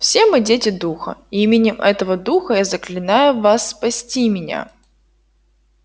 все мы дети духа и именем этого духа я заклинаю вас спасти меня